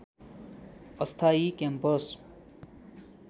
अस्थायी क्याम्पस